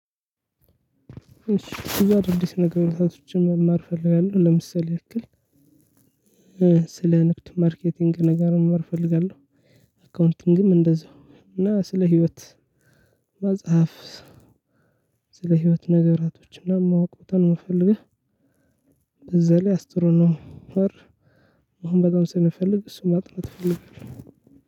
እሺ ብዙ አዳዲስ ነገሮታችን መማር እፈልጋለሁ ለምሳሌ ያክል ስለ ንግድ ማርኬቲንግ ነገር መማር ፈልጋለሁ። አካውንቲንግም እንደዛው እና ስለ ህይወት መጽሐፍ ስለ ህይወት ነገራቶችና ማወቅ ቦታ ነው ምፈልግህ። ላይ አስትሮኖ ነው። አሁን በጣም ስለምፈልግ እሱን ማጥናት ፈልጋለሁ